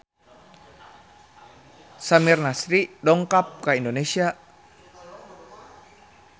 Samir Nasri dongkap ka Indonesia